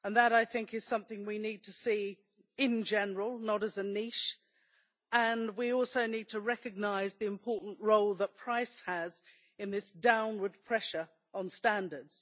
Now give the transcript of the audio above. I think that is something we need to see in general, not as a niche, and we also need to recognise the important role that price has in this downward pressure on standards.